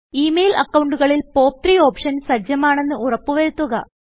E mail അക്കൌണ്ടുകളിൽ പോപ്പ്3 option സജ്ജമാണെന്ന് ഉറപ്പ് വരുത്തുക